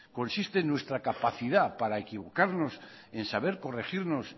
consiste en nuestra capacidad para equivocarnos y en saber corregirnos